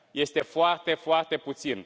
Este foarte, foarte puțin.